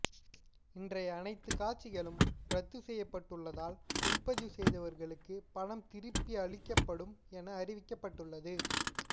இன்றைய அனைத்து காட்சிகளும் ரத்து செய்யப்பட்டுள்ளதால் முன்பதிவு செய்தவர்களுக்கு பணம் திருப்பி அளிக்கப்படும் என அறிவிக்கப்பட்டுள்ளது